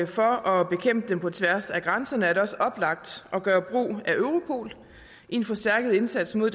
for at bekæmpe dem på tværs af grænserne er det også oplagt at gøre brug af europol i en forstærket indsats mod